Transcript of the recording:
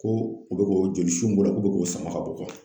Ko u bɛ k'o jolisu min bɔra k'o bɛ k'o sama ka bɔ